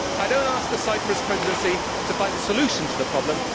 I do not ask the Cyprus Presidency to find a solution to the problem.